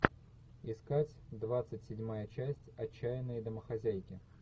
искать двадцать седьмая часть отчаянные домохозяйки